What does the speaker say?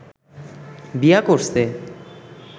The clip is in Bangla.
বিয়া করছে